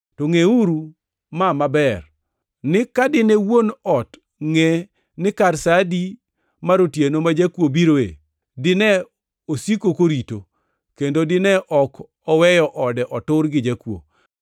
To ngʼeuru ma maber ni ka dine wuon ot ngʼe ni kar sa adi mar otieno ma jakuo biroe, dine osiko korito, kendo dine ok oweyo ode otur gi jakuo.